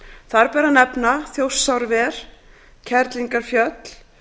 þar ber meðal annars að nefna þjórsárver kerlingarfjöll